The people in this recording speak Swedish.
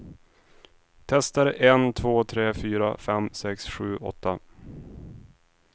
Testar en två tre fyra fem sex sju åtta.